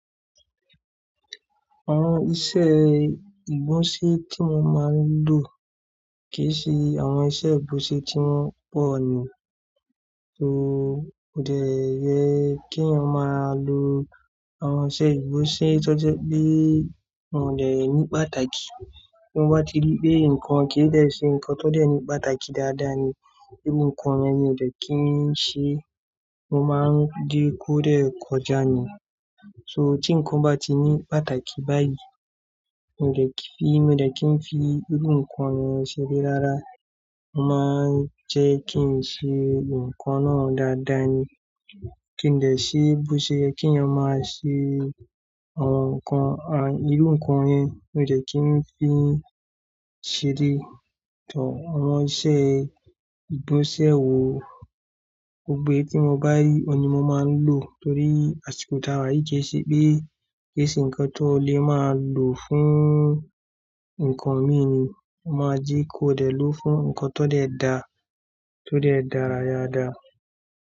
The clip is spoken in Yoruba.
Àwọn iṣẹ́ ìgbọ̀nsẹ̀ tí mo máa ń lò kì í ṣe àwọn ìṣe ìgbọ̀nsẹ̀ tí wọ́n pọ̀ ni. Kodẹ̀ yẹ kí a máa lo àwọn ìṣe ìgbọ̀nsẹ̀ tó jẹ́ pé òdẹ̀ ní pàtàkì. Bí mo bá ti rí pé nǹkan kì í dẹ̀ ṣe nǹkan tó dẹ̀ ní pàtàkì dáadáa ni, irú nǹkan yẹn mi ò dẹ̀ kí ń ṣe, mo máa ń jẹ́ kó dẹ̀ kọjá ni. Tí nǹkan bá ti ní pàtàkì báyìí, mi ò dẹ̀ kí, mi ò dẹ̀ kí ń fi irú nǹkan yẹn ṣeré rárá. Mo máa ń jẹ́ kí ń ṣe nǹkan náà dáadáa ni. Kí n dẹ̀ ṣe, bó ṣe yẹ kí a máa ṣe àwọn nǹkan, irú nǹkan yẹn mi ò dẹ̀ kí ń fi ń ṣeré. Awon iṣè ìgbọ̀nsẹ̀ wo, gbogbo ẹ́ tí mo bá rí, òun ni mo máa ń lò torí àsìkò táa wáyé kì í ṣe pé, kì í ṣe nǹkan tó lè máa lò fún nǹkan mi ni. Mo máa jẹ́ kó dẹ̀ lò fún nǹkan tó dẹ̀ dá, tó dẹ̀ dára dada.